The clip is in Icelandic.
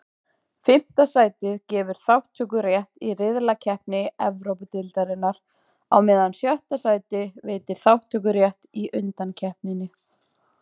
Fimmta sætið gefur þátttökurétt í riðlakeppni Evrópudeildarinnar, á meðan sjötta sætið veitir þátttökurétt í undankeppninni.